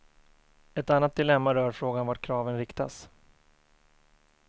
Ett annat dilemma rör frågan vart kraven riktas.